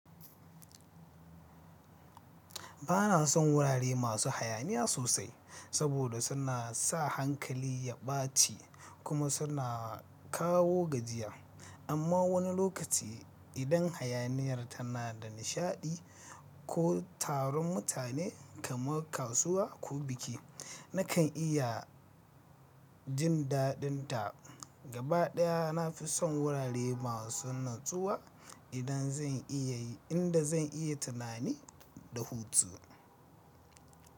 Ba na son wurare masu hayaniya sosai saboda suna sa hankali ya ɓaci kuma suna kawo gajiya. Amma wani lokaci, idan hayaniyar tana da nishaɗi ko taron mutane kamar kasuwa ko biki, na kan iya jin daɗinta. Gaba ɗaya, na fi son wurare masu natsuwa inda zan iya tunani da hutu.